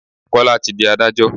Kọ́lá tí di Ádájọ́.